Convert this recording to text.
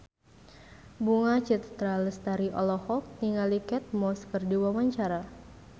Bunga Citra Lestari olohok ningali Kate Moss keur diwawancara